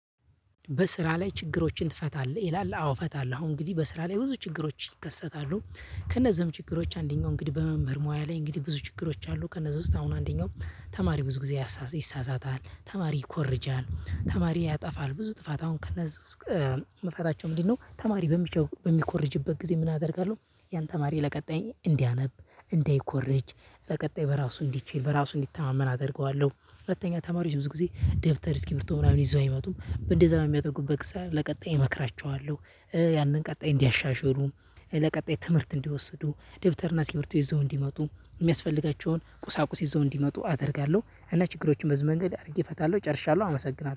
በስራ ላይ ችግሮችን ትፈታለህ? ይላል አዎ እፈታለሁ አሁን እንግዲህ በስራ ላይ ብዙ ችግሮች ይከሰታሉ ከነዚህም ችግሮች አንደኛው እንግዲህ በመምህር ሙያ ላይ እንግዲህ ብዙ ችግሮች አሉ። ከነዛ ውስጥ አሁን አንደኛው ተማሪ ብዙ ጊዜ ይሳሳታል ተማሪ ይኮርጃል ተማሪ ያጠፋል ብዙ ጥፋት አሁን ከነሱ ውስጥ መፈታቸው ምንድነው? ተማሪ በሚኮርጅበት ጊዜ ምን አደርጋለሁ ያን ተማሪ ለቀጣይ እንዲያነብ እንዳይኮርጅ በቀጣይ በራሱ እንዲችል በራሱ እንዲተማመን አደርገዋለሁ። ሁለተኛ ተማሪዎች ብዙ ጊዜ ደብተር እስኪርብቶ ምናምን ይዘው አይመጡም እንደዛ የሚያደርጉበት ለቀጣይ እመክራቸዋለሁ። ያንን ቀጣይ እንዲያሻሽሉ ለቀጣይ ትምህርት እንዲወስዱ ደብተርና እና እሰክሪበቶ ይዘው እንዲመጡ የሚያስፈልጋቸውን ቁሳቁስ ይዘው እንዲመጡ አደርጋለሁ። እና ችግሮችን በዚህ መንገድ አድርጌ እፈታለሁ ጨርሻለሁ አመሰግናለሁ